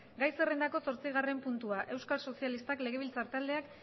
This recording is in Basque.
gai zerrendako zortzigarren puntua euskal sozialistak legebiltzar taldeak